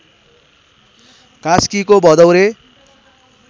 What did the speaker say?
कास्कीको भदौरे